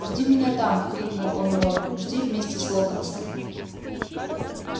жди меня там крикнул он рону жди вместе с локонсом